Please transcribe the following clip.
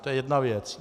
To je jedna věc.